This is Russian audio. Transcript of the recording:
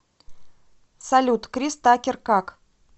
салют крис такер как